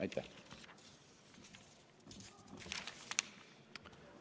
Aitäh!